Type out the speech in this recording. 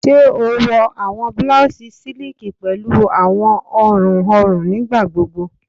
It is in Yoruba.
Ṣe o wọ awọn blouses siliki pẹlu awọn ọrun ọrun nigbagbogbo?